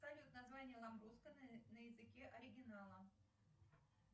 салют название ламбруско на языке оригинала